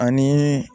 Ani